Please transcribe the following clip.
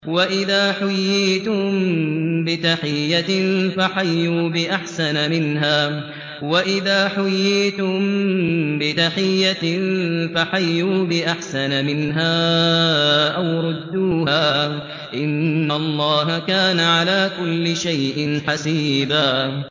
وَإِذَا حُيِّيتُم بِتَحِيَّةٍ فَحَيُّوا بِأَحْسَنَ مِنْهَا أَوْ رُدُّوهَا ۗ إِنَّ اللَّهَ كَانَ عَلَىٰ كُلِّ شَيْءٍ حَسِيبًا